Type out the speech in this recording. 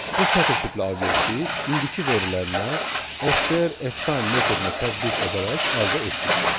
Bu sətr tipli obyekti indiki verilənə STR Ftime metodunu tətbiq edərək əldə etdik.